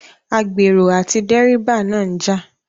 Agbèrò àti dẹ́ríbà náà ń jà